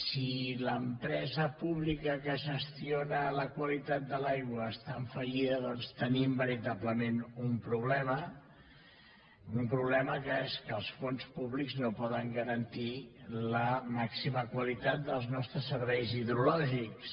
si l’empresa pública que gestiona la qualitat de l’aigua està en fallida doncs tenim veritablement un problema un problema que és que els fons públics no poden garantir la màxima qualitat dels nostres serveis hidrològics